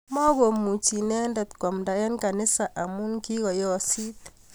Makomuchi inendet koamnda eng kanisa amu kikoosit